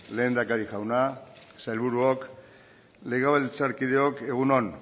lehendakari jauna sailburuok legebiltzarkideok egun on